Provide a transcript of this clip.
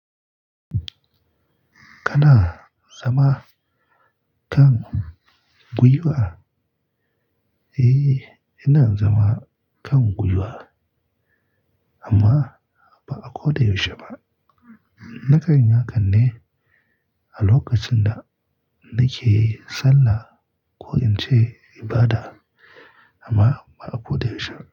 Kana zama kan gwiwa? Eh, ina zama kan guyuwa amma ba'a ko da yaushe ba. Naka ni naka ne a lokacin da nake sallah ko in ce ibada amma ba'a ko da yaushe ba.